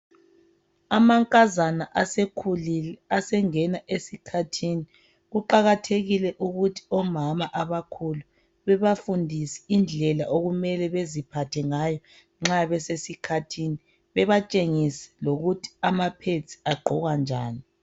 Amankazana asekhulile asengena esikhathini, kuqakathekile ukuthi omama abakhulu bebafundise indlela okumele baziphathe ngayo nxa besesikhathini. Bebatshengise lokuthi ama pPads agqokwa njani.